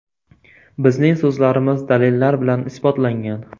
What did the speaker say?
Bizning so‘zlarimiz dalillar bilan isbotlangan.